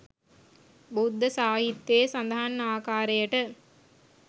බුද්ධ සාහිත්‍යයේ සඳහන් ආකාරයට